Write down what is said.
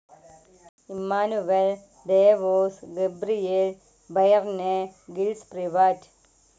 Emmanuel Devos, Gabriel Byrne, Gilles Privat